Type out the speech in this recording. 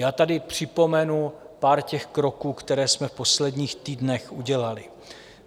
Já tady připomenu pár těch kroků, které jsme v posledních týdnech udělali.